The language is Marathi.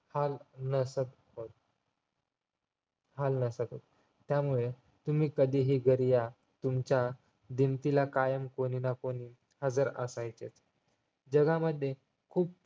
हाल नसत होत हाल नसत होत त्यामुळे तुम्ही कधीही घरी या तुमच्या भिंतीला कायम कोणीनाकोणी हजार असायचे जगामध्ये